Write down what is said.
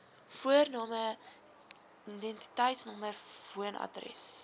voorname identiteitsnommer woonadres